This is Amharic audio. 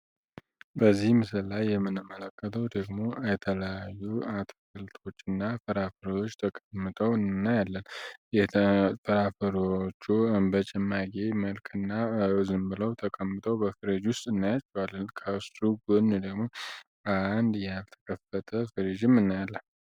በዚህ ምስል ላይ የምንመለከተው ደግሞ የተለያዩ አትክልቶች እና ፍራፈሮዎች ተቀምጠው እናያለልን የፍራፈሮዎቹ በጨማቂ መልክ እና ዝም ብለው ተቀምተው በፍሬ ጁስ እናያቸዋለን ከሱ ጎን የደግሞ አንድ የያልተከፈተ ፍሪዥም እናያለን።